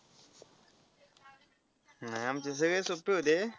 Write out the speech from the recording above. नाही आमचे सगळे सोपे होते.